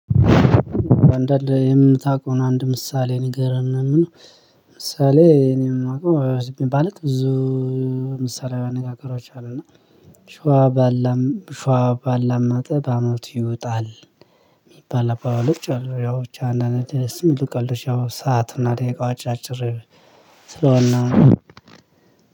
አንዳንድ የምታውቀውን አንድ ምሳሌ ንገረን ምናምን። ምሳሌ እኔ የማውቀው ማለት ብዙ። ምሳሌያዊ አነጋገሮች አሉና ሸዋ ባላም ሸዋ ባላመጠ በአመቱ ይወጣል። የሚባል አባባሎች አሉ ያው ብቻ አንድአንድ ደስ የሚሉ ቀልዶች ያው ሰዓትና ደቂቃው አጭር ስለሆነ ነው።